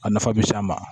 A nafa bɛ s'an ma